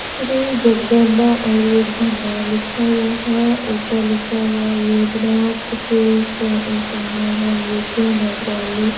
श्री जगदंबा आयुर्वेद भंडार लिखा हुआ है ऊपर लिखा हुआ वेदनाथ के नगरालय।